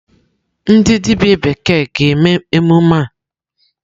Ndi dibia bekee ga-eme emume a?